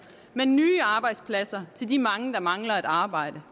men nye arbejdspladser til de mange der mangler et arbejde